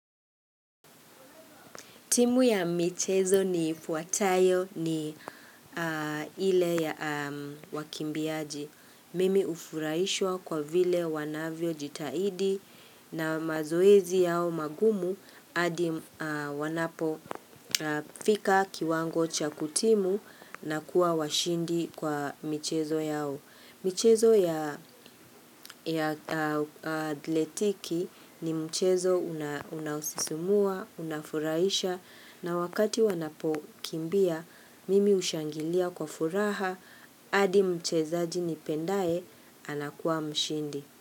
Timu ya michezo ni fuatayo ni ile ya wakimbiaji. Mimi ufurahishwa kwa vile wanavyo jitaidi na mazoezi yao magumu adi wanapo fika kiwango cha kutimu na kuwa washindi kwa michezo yao. Michezo ya atletiki ni mchezo unaosisumua, unafuraisha na wakati wanapo kimbia, mimi ushangilia kwa furaha, adi mcheza jini pendae anakuwa mshindi.